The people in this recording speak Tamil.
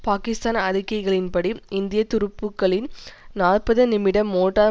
பாகிஸ்தான் அறிக்கைகளின்படி இந்திய துருப்புக்களின் நாற்பது நிமிட மோட்டார்